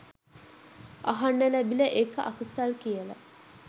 අහන්න ලැබිලා ඒක අකුසල් කියලා